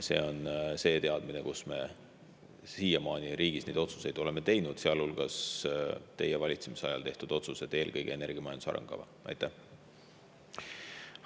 See on see teadmine, me siiamaani riigis neid otsuseid oleme teinud, sealhulgas teie valitsemisajal tehtud otsuseid, eelkõige energiamajanduse arengukava.